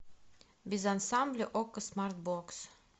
без ансамбля окко смартбокс